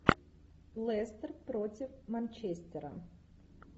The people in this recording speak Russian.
лестер против манчестера